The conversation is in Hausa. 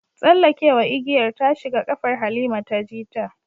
Tsallekewa igiyar ta shiga kafar Halima ta ji ta